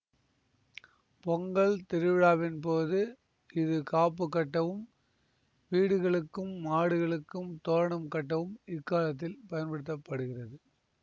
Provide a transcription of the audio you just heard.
பொங்கல் திருவிழாவின்போது இது காப்புக் கட்டவும் வீடுகளுக்கும் மாடுகளுக்கும் தோரணம் கட்டவும் இக்காலத்தில் பயன்படுத்த படுகிறது